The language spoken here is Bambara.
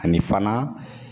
Ani fana